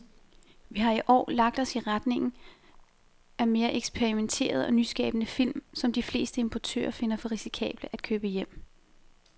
Vi har i år lagt os i retning af mere eksperimenterede og nyskabende film, som de fleste importører finder for risikable at købe hjem.